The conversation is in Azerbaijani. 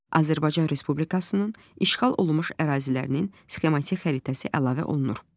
Azərbaycan Respublikasının işğal olunmuş ərazilərinin sxematik xəritəsi əlavə olunur.